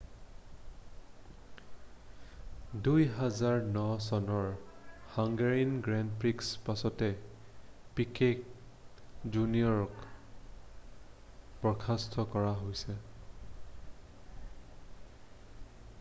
2009 চনৰ Hungarian grand প্ৰিৰ পাছত পিকেট জুনিয়ৰক বৰ্খাস্ত কৰা হৈছে